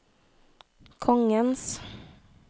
kongens